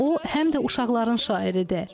O, həm də uşaqların şairidir.